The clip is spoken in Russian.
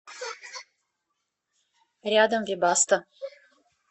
рядом вебасто